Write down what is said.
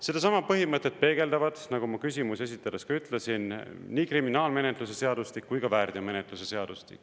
Sedasama põhimõtet peegeldavad, nagu ma küsimusi esitades ka ütlesin, nii kriminaalmenetluse seadustik kui ka väärteomenetluse seadustik.